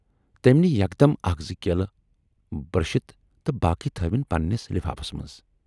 تٔمۍ نی یکدم اکھ زٕ کیلہٕ برشِت تہٕ باقی تھٲوٕنۍ پنہٕ نِس لِفافس منز۔